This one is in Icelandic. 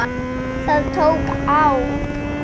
Það tók á.